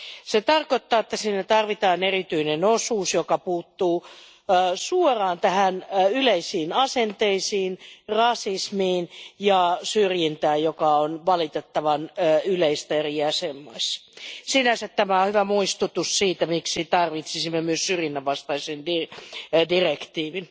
Se tarkoittaa, että tarvitaan erityinen osuus, joka puuttuu suoraan yleisiin asenteisiin, rasismiin ja syrjintään, joka on valitettavan yleistä eri jäsenmaissa. Sinänsä tämä on hyvä muistutus siitä, miksi tarvitsisimme myös syrjinnän vastaisen direktiivin.